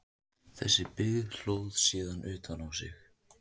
Þessi byggð hlóð síðan utan á sig.